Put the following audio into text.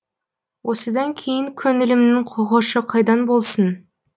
осыдан кейін көңілімнің хошы қайдан болсын